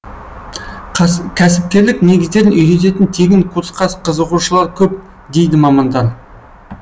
кәсіпкерлік негіздерін үйрететін тегін курсқа қызығушылар көп дейді мамандар